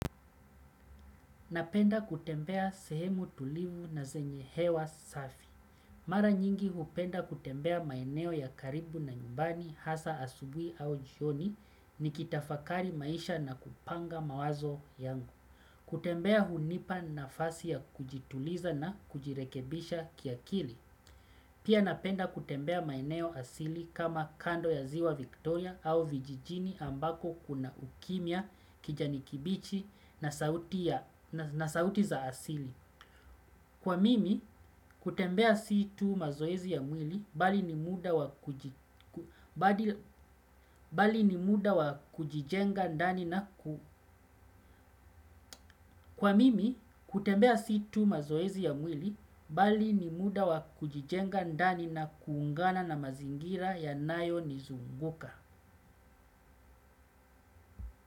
Napenda kutembea sehemu tulivu na zenye hewa safi. Mara nyingi hupenda kutembea maeneo ya karibu na nyumbani hasa asubuhi au jioni nikitafakari maisha na kupanga mawazo yangu. Kutembea hunipa nafasi ya kujituliza na kujirekebisha kiakili. Pia napenda kutembea maeneo asili kama kando ya ziwa Victoria au vijijini ambako kuna ukimya kijani kibichi na sauti za asili. Kwa mimi, kutembea si tu mazoezi ya mwili, bali ni muda wa bali ni muda wa kujijenga ndani na kwa mimi, kutembea si tu mazoezi ya mwili, bali ni muda wa kujijenga ndani na kuungana na mazingira yanayonizunguka.